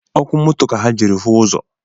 Ọkụ moto ka ha jiri hụ ụzọ